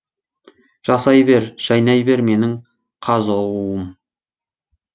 жасай бер жайнай бер менің қазұу ым